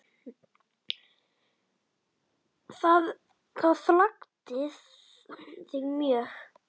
Það gladdi þig mjög.